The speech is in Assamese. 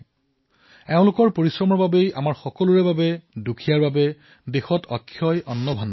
এওঁলোকৰ পৰিশ্ৰমৰ দ্বাৰা আজি আমাৰ বাবে দৰিদ্ৰসকলৰ বাবে দেশৰ ওচৰত অক্ষয় অন্নভাণ্ডাৰ আছে